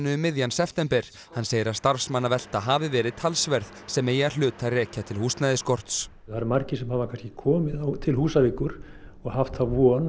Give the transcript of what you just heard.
um miðjan september hann segir að starfsmannavelta hafi verið talsverð sem megi að hluta rekja til húsnæðisskorts það eru margir sem hafa kannski komið til Húsavíkur og haft þá von